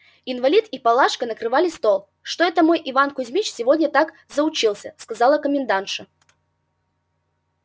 инвалид и палашка накрывали стол что это мой иван кузмич сегодня так заучился сказала комендантша